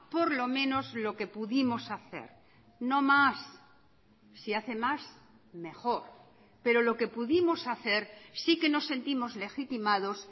por lo menos lo que pudimos hacer no más si hace más mejor pero lo que pudimos hacer sí que nos sentimos legitimados